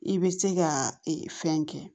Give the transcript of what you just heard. I bɛ se ka fɛn kɛ